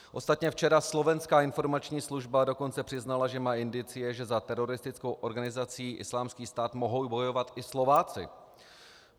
Ostatně včera Slovenská informační služba dokonce přiznala, že má indicie, že za teroristickou organizaci Islámský stát mohou bojovat i Slováci.